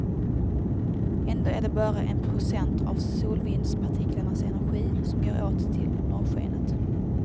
Ändå är det bara en procent av solvindspartiklarnas energi som går åt till norrskenet.